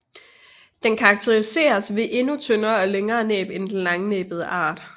Den karakteriseres ved et endnu tyndere og længere næb end den langnæbbede art